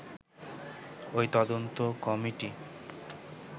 ওই তদন্ত কমিটি